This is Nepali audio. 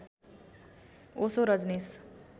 ओशो रजनीश